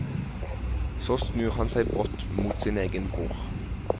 Så snur han seg brått mot sin egen bror.